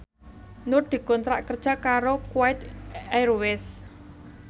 Nur dikontrak kerja karo Kuwait Airways